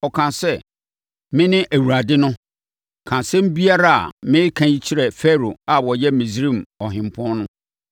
ɔkaa sɛ, “Mene Awurade no. Ka asɛm biara a mereka yi kyerɛ Farao a ɔyɛ Misraim ɔhempɔn no.”